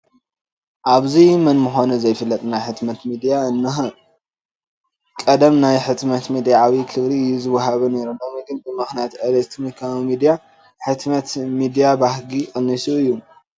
ኣብዚ መን ምዃኑ ዘይፍለጥ ናይ ሕትመት ሚድያ እኒሀ፡፡ ቀደም ናይ ሕትመት ሚድያ ዓብዪ ክብሪ እዩ ዝወሃቦ ነይሩ ፡፡ ሎሚ ግን ብምኽንያት ኤለክትሮኒካዊ ሚድያ ናይ ሕትመት ሚድያ ባህጊ ቀኒሱ እዩ፡፡